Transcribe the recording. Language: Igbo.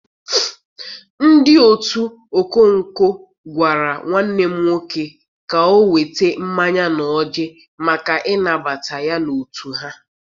Ndị otu ọkọnkọ gwara nwanne m nwoke ka o weta mmanya na ọjị maka ịnabata ya n'otu ha.